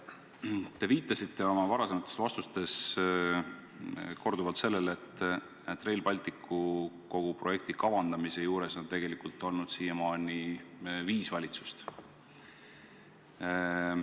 Te viitasite oma varasemates vastustes korduvalt sellele, et Rail Balticu projekti kavandamise juures on siiamaani tegelikult olnud viis valitsust.